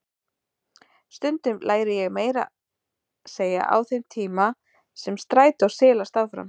Stundum læri ég meira að segja á þeim tíma sem strætó silast áfram.